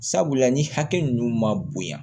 Sabula ni hakɛ ninnu ma bonya